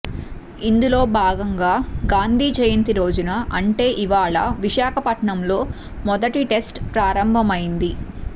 ఇందులోభాగంగా గాంధీ జయంతి రోజున అంటే ఇవాళ విశాఖపట్నంలో మొదటి టెస్ట్ ప్రారంభమయ్యింది